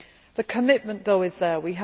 The commitment, though, is there.